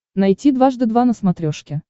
найти дважды два на смотрешке